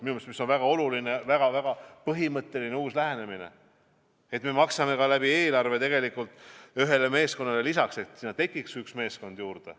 Minu meelest on see väga oluline, väga-väga põhimõtteline uus lähenemine, et me maksame eelarvest ühele meeskonnale lisaks, et tekiks üks meeskond juurde.